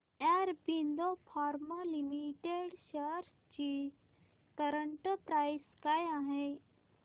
Aurobindo pharma limited shares ची current price काय आहे